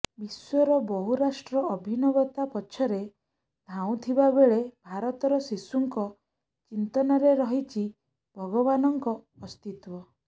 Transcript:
ବିଶ୍ୱର ବହୁରାଷ୍ଟ୍ର ଅଭିନବତା ପଛରେ ଧାଉଁଥିବା ବେଳେ ଭାରତର ଶିଶୁଙ୍କ ଚିନ୍ତନରେ ରହିଛି ଭଗବାନଙ୍କ ଅସ୍ତିତ୍ୱ